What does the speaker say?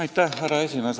Austatud härra esimees!